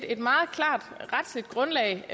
et meget klart retligt grundlag